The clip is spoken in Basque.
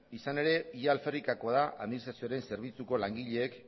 izan ere ia alferrikakoa da administrazioaren zerbitzuko langileek